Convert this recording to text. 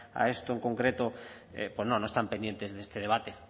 a esto en concreto pues no no están pendientes de este debate